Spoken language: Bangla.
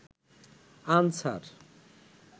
আনসার